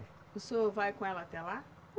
O senhor vai com ela até lá?